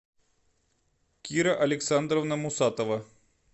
кира александровна мусатова